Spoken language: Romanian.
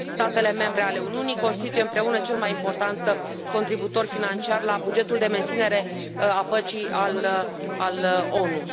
Statele membre ale Uniunii constituie împreună cel mai important contribuitor financiar la bugetul de menținere a păcii al ONU.